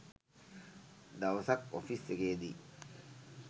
දවසක් ඔෆිස් එකේදි